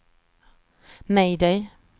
mayday